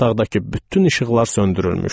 Otaqdakı bütün işıqlar söndürülmüşdü.